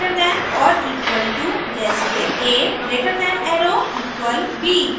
>= greater than or equal to जैसे a greater than arrow equal b